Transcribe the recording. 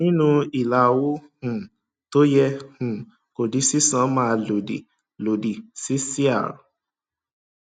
nínú ilà owó um tó yẹ um kó di sísan máa lòdì lòdì sí cr